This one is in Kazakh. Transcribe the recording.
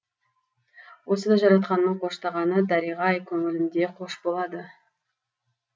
осы да жаратқанның қоштағаны дәриға ай көңілімде қош болады